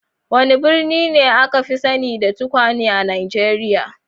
Wane birni ne aka fi sani da tukwane a Najeriya?